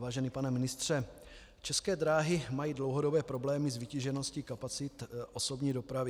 Vážený pane ministře, České dráhy mají dlouhodobé problémy s vytížeností kapacit osobní dopravy.